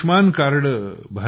हे आयुष्मान कार्ड